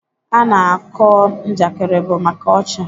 Ana kọọ Njakịrị bụ maka ọchị.